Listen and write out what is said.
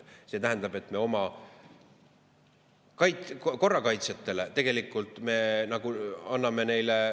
See tähendab, et me oma korrakaitsjatele tegelikult anname ...